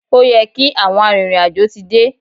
Ó yẹ kí àwọn arìnrìn-àjò ti dé.